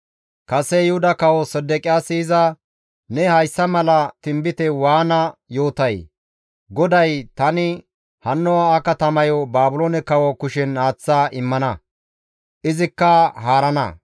Kase Yuhuda kawo Sedeqiyaasi iza, «Ne hayssa mala tinbite waana yootay? GODAY, ‹Tani hanno ha katamayo Baabiloone kawo kushen aaththa immana; izikka haarana.